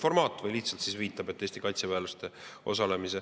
Või ta lihtsalt viitab, et Eesti kaitseväelased osalevad.